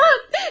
Yalan!